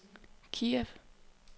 Kiev